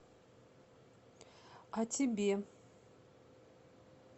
о тебе